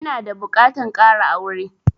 Ina da buƙatan ƙara aure